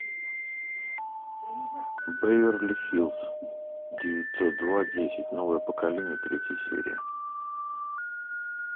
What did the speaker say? беверли хиллз девятьсот два десять новое поколение третья серия